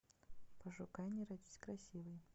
пошукай не родись красивои